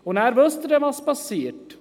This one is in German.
Und wissen Sie, was dann geschieht?